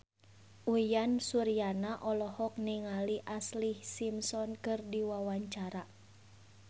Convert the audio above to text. Uyan Suryana olohok ningali Ashlee Simpson keur diwawancara